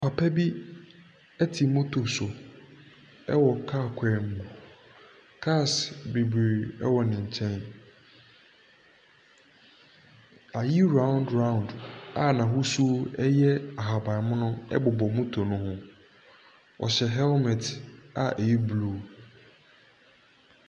Papa bi te moto so wɔ kaa kwan mu. Cars bebiree wɔ ne nkyɛn. ayi round round a n’ahosuo yɛ ahaban mono bobɔ moto no ho. Ↄhyɛ helmet a ɛyɛ blue.